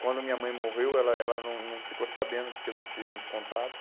Quando minha mãe morreu, ela ela não não ficou sabendo porque não tínhamos contato.